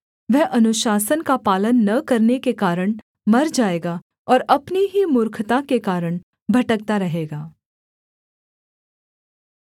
वह अनुशासन का पालन न करने के कारण मर जाएगा और अपनी ही मूर्खता के कारण भटकता रहेगा